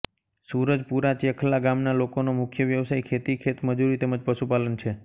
સૂરજપુરાચેખલા ગામના લોકોનો મુખ્ય વ્યવસાય ખેતી ખેતમજૂરી તેમ જ પશુપાલન છે